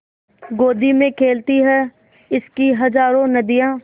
गोदी में खेलती हैं इसकी हज़ारों नदियाँ